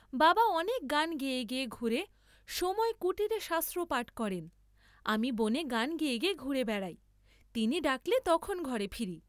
বাবা অনেক গান গেয়ে গেয়ে ঘুরে সময় কুটীরে শাস্ত্র পাঠ করেন, আমি বনে গান গেয়ে ঘুরে বেড়াই, তিনি ডাকলে তখন ঘরে ফিরি।